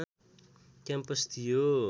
campus थियो